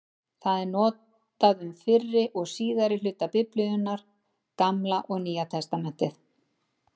Það er notað um fyrri og síðari hluta Biblíunnar, Gamla og Nýja testamentið.